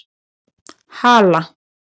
Hala